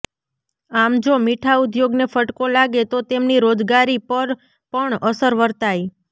આમ જો મીઠા ઉદ્યોગને ફટકો લાગે તો તેમની રોજગારી પર પણ અસર વર્તાઈ